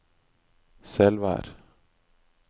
Selvær